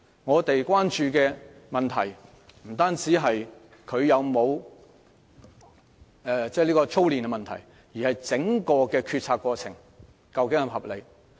我們關注的問題不單關乎會否構成操練，而是整個決策過程是否合理。